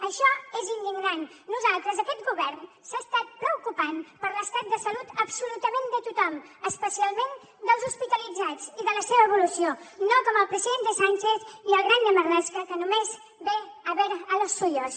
això és indignant nosaltres aquest govern s’ha estat preocupant per l’estat de salut absolutament de tothom especialment dels hospitalitzats i de la seva evolució no com el president sánchez i el grande marlaska que només ve a ver a los suyos